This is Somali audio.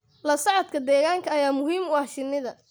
La socodka deegaanka ayaa muhiim u ah shinnida.